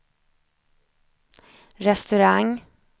restaurang